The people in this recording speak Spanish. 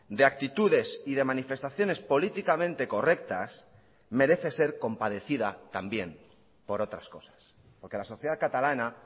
de actitudes y de manifestaciones políticamente correctas merece ser compadecida también por otras cosas porque la sociedad catalana